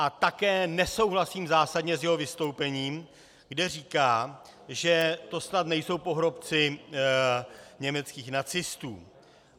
A také nesouhlasím zásadně s jeho vystoupením, kde říká, že to snad nejsou pohrobci německých nacistů.